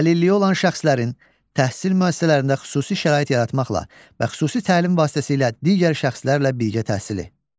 Əlilliyi olan şəxslərin təhsil müəssisələrində xüsusi şərait yaratmaqla və xüsusi təlim vasitəsilə digər şəxslərlə birgə təhsili.